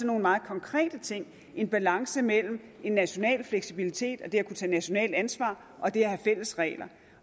nogle meget konkrete ting en balance imellem en national fleksibilitet og det at kunne tage nationalt ansvar og det at have fælles regler